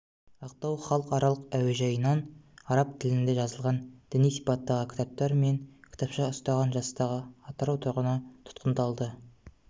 ақтау халықаралық әуежайынан араб тілінде жазылған діни сипаттағы кітаптар мен кітапша ұстаған жастағы атырау тұрғыны тұтқындалды